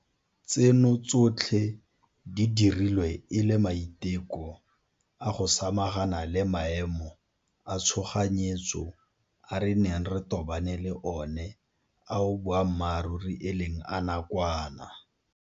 Tseno tsotlhe di dirilwe e le maiteko a go samagana le maemo a tshoganyetso a re neng re tobane le one ao boammaruri e leng a nakwana.